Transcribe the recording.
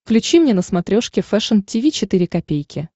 включи мне на смотрешке фэшн ти ви четыре ка